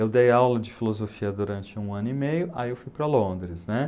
Eu dei aula de filosofia durante um ano e meio, aí eu fui para Londres, né?